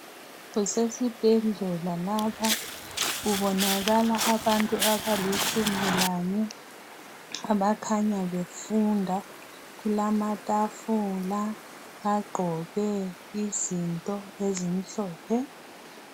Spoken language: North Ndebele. Kusesibhedlela lapha kubonakala abantu abalitshumi lanye abakhanya befunda kulamatafula bagqoke izinto ezimhlophe.